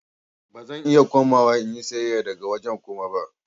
Ba zan iya komawa in yi sayayya daga wajen Kuma ba.